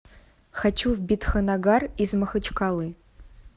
хочу в бидханнагар из махачкалы